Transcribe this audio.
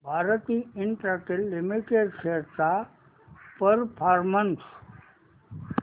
Bharti Infratel limited shares चा performance